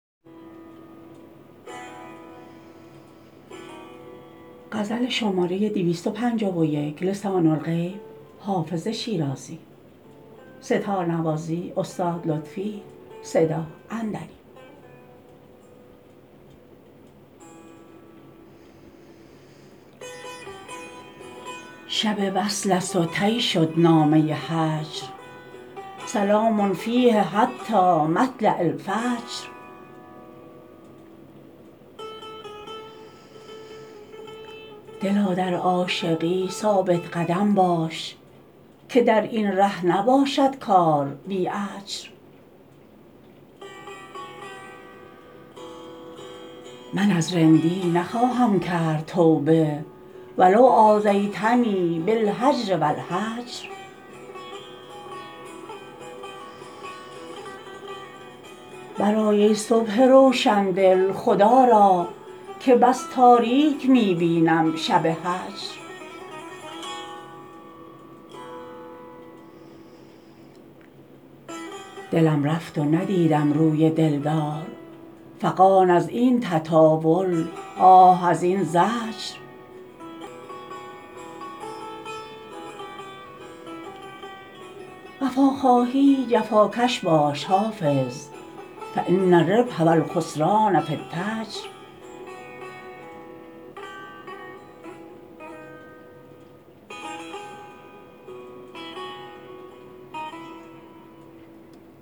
شب وصل است و طی شد نامه هجر سلام فیه حتی مطلع الفجر دلا در عاشقی ثابت قدم باش که در این ره نباشد کار بی اجر من از رندی نخواهم کرد توبه و لو آذیتنی بالهجر و الحجر برآی ای صبح روشن دل خدا را که بس تاریک می بینم شب هجر دلم رفت و ندیدم روی دل دار فغان از این تطاول آه از این زجر وفا خواهی جفاکش باش حافظ فان الربح و الخسران في التجر